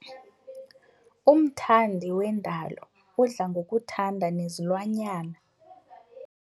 Umthandi wendalo udla ngokuthanda nezilwanyana.